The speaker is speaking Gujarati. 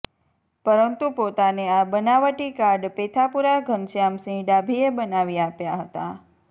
પરંતુ પોતાને આ બનાવટી કાર્ડ પેથાપુરા ધનશ્યામ સિંહ ડાભીએ બનાવી આપ્યા હતા